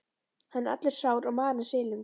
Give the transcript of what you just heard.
Hann er allur sár og marinn, silungs